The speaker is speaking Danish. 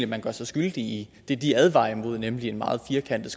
man gør sig skyldig i det de advarer imod nemlig en meget firkantet